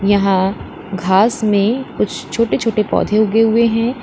यहां घास में कुछ छोटे छोटे पौधे उगे हुए हैं।